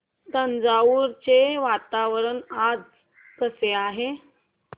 तंजावुर चे वातावरण आज कसे आहे